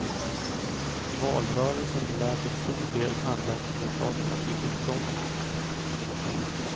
Valrörelsen lär till stor del handla om orsakerna till uppgången.